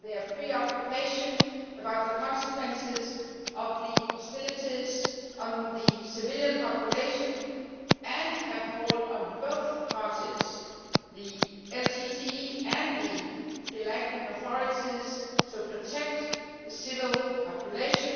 their preoccupation about the consequences of the hostilities on the civilian population and have called on both parties, the LTTE and the Sri Lankan authorities, to protect the civil population,